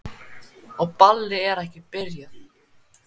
Og ballið er ekki byrjað.